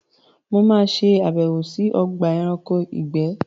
Mo ma ṣe àbẹ̀wò sí Ogba eranko ìgbé